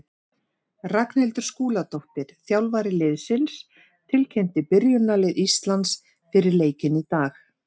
Ragnhildur Skúladóttir, þjálfari liðsins, tilkynnti byrjunarlið Íslands fyrir leikinn í dag.